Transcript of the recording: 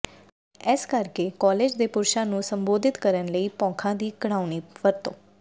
ਇਸਕਰਕੇ college ਦੇ ਪੁਰਸ਼ਾਂ ਨੂੰ ਸੰਬੋਧਿਤ ਕਰਨ ਲਈ ਬੌਖਾਂ ਦੀ ਘਿਣਾਉਣੀ ਵਰਤੋਂ